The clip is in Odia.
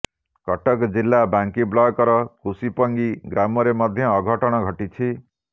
କଟକ ଜିଲ୍ଲା ବାଙ୍କୀ ବ୍ଲକର କୁସୁପଙ୍ଗି ଗ୍ରାମରେ ମଧ୍ୟ ଅଘଟଣ ଘଟିଛି